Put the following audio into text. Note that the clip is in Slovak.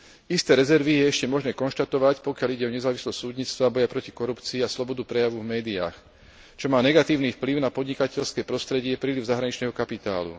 Isté rezervy je ešte možné konštatovať, pokiaľ ide o nezávislosť súdnictva, boj proti korupcii a slobodu prejavu v médiách, čo má negatívny vplyv na podnikateľské prostredie a príliv zahraničného kapitálu.